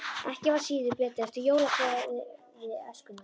Ekki var síður beðið eftir jólablaði Æskunnar.